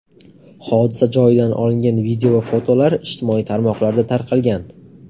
Hodisa joyidan olingan video va fotolar ijtimoiy tarmoqlarda tarqalgan.